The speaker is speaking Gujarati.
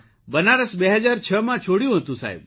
બનારસ ૨૦૦૬માં છોડ્યું હતું સાહેબ